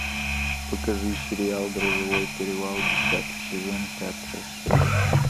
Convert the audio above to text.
покажи сериал грозовой перевал десятый сезон пятая серия